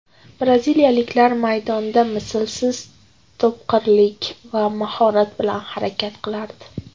Braziliyalik maydonda mislsiz topqirlik va mahorat bilan harakat qilardi.